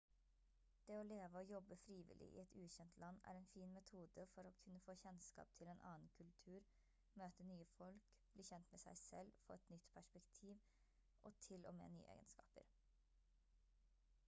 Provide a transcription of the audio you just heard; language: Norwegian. det å leve og jobbe frivillig i et ukjent land er en fin metode for å kunne få kjennskap til en annen kultur møte nye folk bli kjent med seg selv få et nytt perspektiv og til og med nye egenskaper